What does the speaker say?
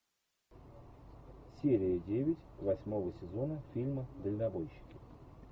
серия девять восьмого сезона фильма дальнобойщики